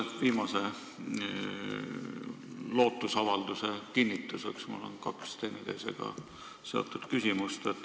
Selle viimase lootusavalduse kinnituseks on mul kaks teineteisega seotud küsimust.